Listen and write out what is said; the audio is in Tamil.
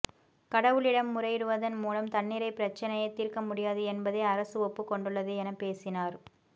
கடவுளிடம் முறையிடுவதன் மூலம் தண்ணீரை பிரச்சினையை தீர்க்க முடியாது என்பதை அரசு ஒப்புக் கொண்டுள்ளது என பேசினார்